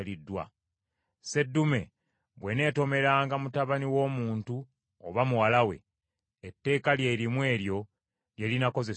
Seddume bw’eneetomeranga mutabani w’omuntu oba muwala we, etteeka lye limu eryo lye linaakozesebwanga.